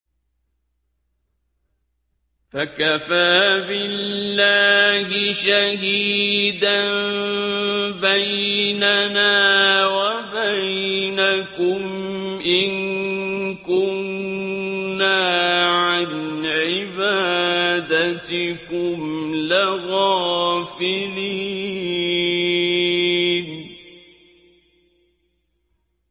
فَكَفَىٰ بِاللَّهِ شَهِيدًا بَيْنَنَا وَبَيْنَكُمْ إِن كُنَّا عَنْ عِبَادَتِكُمْ لَغَافِلِينَ